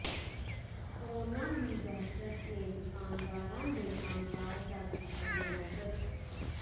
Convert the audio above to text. corona ਦੀ ਦਹਿਸ਼ਤ ਨੇ ਦੁਕਾਨਦਾਰਾਂ ਦੇ ਕੰਮਕਾਜ ਦਾ ਕੀਤਾ ਬੇੜਾ ਗਰਕ